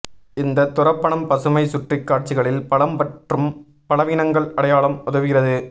இந்த துரப்பணம் பசுமை சுற்றி காட்சிகளில் பலம் மற்றும் பலவீனங்கள் அடையாளம் உதவுகிறது